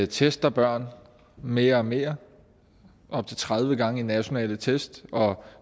tester børn mere og mere op til tredive gange i nationale tests og